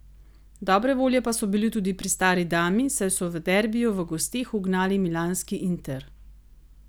Dobre volje pa so bili tudi pri stari dami, saj so v derbiju v gosteh ugnali milanski Inter.